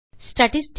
hello friends